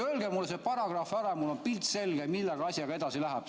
Öelge mulle see paragrahv ära, mul on siis pilt selge, millega asi edasi läheb.